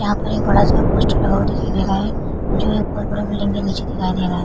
यहाँ पर एक बड़ा सा पोस्टर लगा हुआ दिखाई दे रहा है। जो एक बहुत बड़ा बिल्डिंग के नीचे दिखाई दे रहा है।